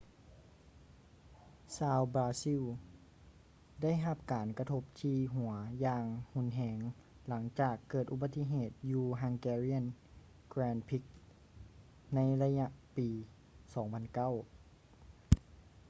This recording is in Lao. ຊາວບຣາຊິລ ໄດ້ຮັບການກະທົບທີ່ຫົວຢ່າງຮຸນແຮງຫຼັງຈາກເກີດອຸບັດຕິເຫດຢູ່ hungarian grand prix ໃນໄລຍະປີ 2009